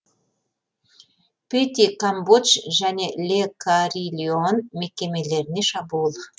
пети камбодж және ле карильон мекемелеріне шабуыл